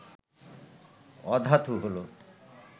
অধাতু হল